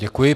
Děkuji.